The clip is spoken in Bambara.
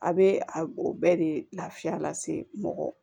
A bɛ a o bɛɛ de lafiya lase mɔgɔ ma